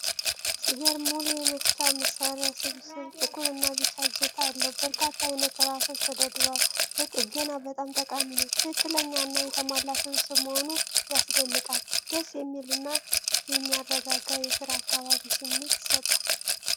ሲገርም! ሙሉ የመፍቻ መሳሪያ ስብስብ። ጥቁር እና ቢጫ እጀታ አለው። በርካታ አይነት ራሶች ተደርድረዋል። ለጥገና በጣም ጠቃሚ ነው። ትክክለኛ እና የተሟላ ስብስብ መሆኑ ያስደንቃል። ደስ የሚል እና የሚያረጋጋ የስራ አካባቢ ስሜት ይሰጣል።